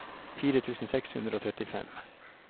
fire tusen seks hundre og trettifem